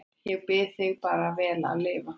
Ég bið þig bara vel að lifa